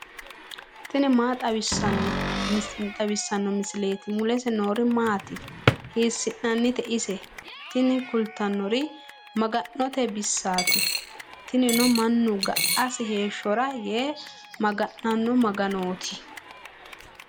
tini maa xawissanno misileeti ? mulese noori maati ? hiissinannite ise ? tini kultannori maga'note baseeti. tinino mannu ga'asi heeshshora yee maga'nanno maga'nooti.